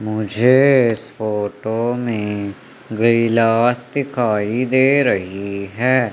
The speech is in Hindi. मुझे फोटो में गिलास दिखाई दे रही है।